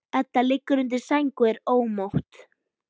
Edda liggur undir sæng og er ómótt.